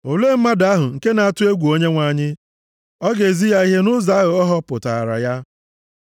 Olee mmadụ ahụ nke na-atụ egwu Onyenwe anyị? O ga-ezi ya ihe nʼụzọ ahụ a họpụtaara ya.